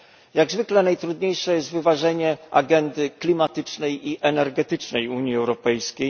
Jak zwykle najtrudniejsze jest wyważenie agendy klimatycznej i energetycznej Unii Europejskiej.